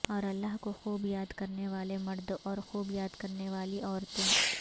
اور اللہ کو خوب یاد کرنے والے مرد اور خوب یاد کرنے والی عورتیں